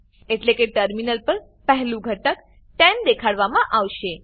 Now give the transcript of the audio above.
એટલે કે ટર્મિનલ પર પહેલું ઘટક 10 દેખાડવામાં આવશે